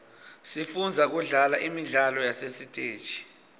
sifundza kudlala imidlalo yasesiteji